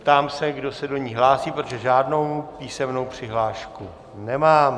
Ptám se, kdo se do ní hlásí, protože žádnou písemnou přihlášku nemám.